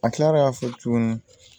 A kilara k'a fɔ tuguni